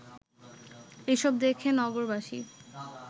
এসব দেখে নগরবাসী